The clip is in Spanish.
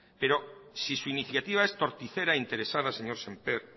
pero si su iniciativa es torticera e interesada señor semper